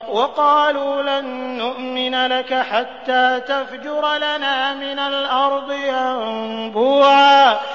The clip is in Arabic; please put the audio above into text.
وَقَالُوا لَن نُّؤْمِنَ لَكَ حَتَّىٰ تَفْجُرَ لَنَا مِنَ الْأَرْضِ يَنبُوعًا